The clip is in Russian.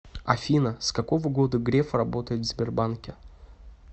афина с какого года греф работает в сбербанке